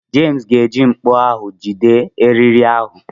Jems ga-eji mkpọ ahụ jide eriri ahụ.